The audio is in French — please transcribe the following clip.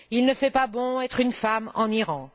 Il ne fait pas bon être une femme en Iran.